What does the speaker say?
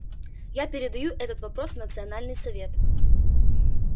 я передаю этот вопрос в национальный совет